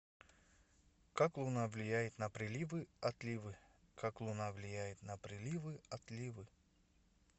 как луна влияет на приливы отливы как луна влияет на приливы отливы